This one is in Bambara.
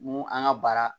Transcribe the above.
Mun an ka baara